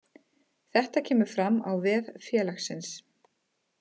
Þetta kemur fram á vef félagsins